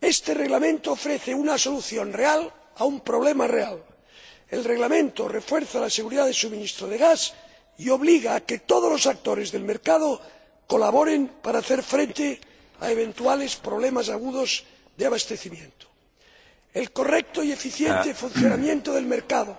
Este Reglamento ofrece una solución real a un problema real el Reglamento refuerza la seguridad del suministro de gas y obliga a que todos los actores del mercado colaboren para hacer frente a eventuales problemas agudos de abastecimiento. El correcto y eficiente funcionamiento del mercado,